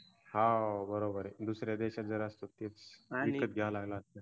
हा बरोबरय दुस-या देशात असतो तर विकत घ्यायला लागल असत